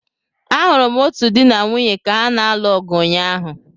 Ahụrụ m otu di na nwunye ka ha na-alụ ọgụ ụnyaahụ.